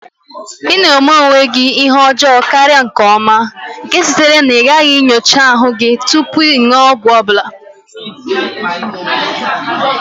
Ị na-eme onwe gị oke ihe ọjọọ karịa nke ọma, nke sitere na ịgaghị nyocha ahụike gị tupu ịṅụ ọgwụ ọ bụla.